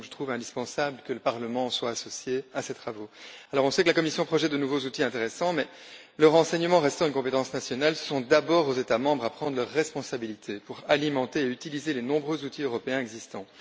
Il est donc indispensable, selon moi, que le Parlement soit associé à ces travaux. On sait que la Commission projette de nouveaux outils intéressants, mais le renseignement restant une compétence nationale, c'est d'abord aux États membres de prendre leurs responsabilités pour alimenter et utiliser les nombreux outils européens existants.